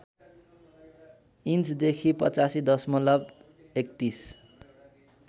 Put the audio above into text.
इन्चदेखि ८५ दशमलव ३१